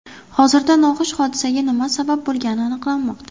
Hozirda noxush hodisaga nima sabab bo‘lgani aniqlanmoqda.